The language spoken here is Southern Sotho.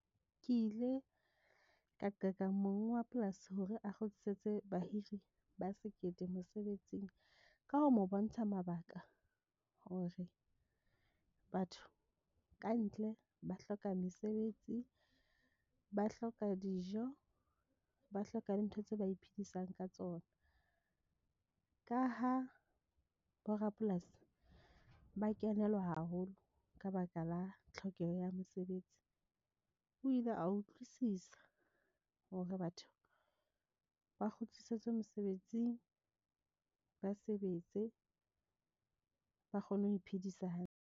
Ke ile ka qeka monga polasi hore a kgutlisetse bahiri ba sekete mosebetsing ka ho mo bontsha mabaka hore batho kantle ba hloka mesebetsi, ba hloka dijo, ba hloka le dintho tse ba iphedisang ka tsona. Ka ha bo rapolasi ba kenelwa haholo ka baka la tlhokeho ya mosebetsi. O ile a utlwisisa hore batho ba kgutlisetswe mosebetsing ba sebetse, ba kgone ho iphedisa hantle.